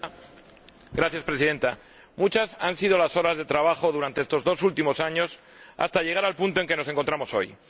Señora Presidenta, muchas han sido las horas de trabajo durante estos dos últimos años hasta llegar al punto en el que nos encontramos hoy.